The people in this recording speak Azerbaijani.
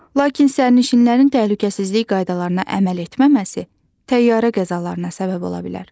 Lakin sərnişinlərin təhlükəsizlik qaydalarına əməl etməməsi təyyarə qəzalarına səbəb ola bilər.